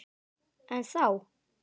En þá!